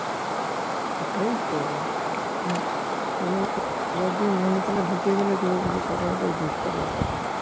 ওটাই তো ও তোমার যে মনে ঢুকিয়ে ফেলেছে ওকে কাটানোটাই তো দুষ্কর ব্যাপার